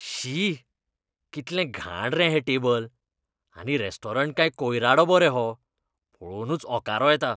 शी! कितलें घाण रे हें टेबल. आनी रॅस्टॉरंट काय कोयरा डबो रे हो. पळोवनूच ओंकारो येता!